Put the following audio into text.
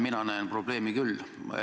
Mina näen probleemi küll.